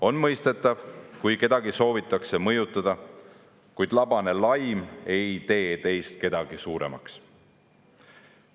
On mõistetav, kui kedagi soovitakse mõjutada, kuid labane laim ei tee teist kedagi suuremaks.